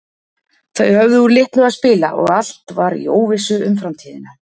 Þau höfðu úr litlu að spila og allt var í óvissu um framtíðina.